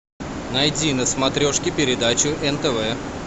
найди на смотрешке передачу нтв